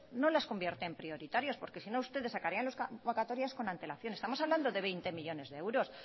no las convierte en prioritarias porque sino ustedes sacarían las convocatorias con antelación estamos hablando de veinte millónes de euros